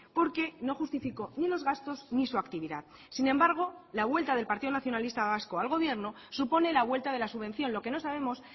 porque no justificó ni los gastos ni su actividad sin embargo la vuelta del partido nacionalista vasco al gobierno supone la vuelta de la subvención lo que no sabemos